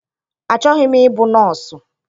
Achọghị m ịbụ nọọsụ.